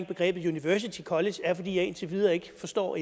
begrebet university college er at jeg indtil videre ikke forstår